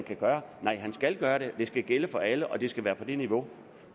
kan gøre nej han skal gøre det og det skal gælde for alle og det skal være på det niveau